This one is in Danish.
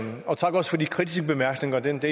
blandt